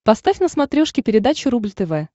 поставь на смотрешке передачу рубль тв